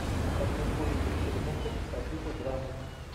хочу увидеть фильмуху по типу драмы